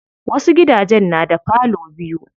Wasu gidajen na da parlor biyu.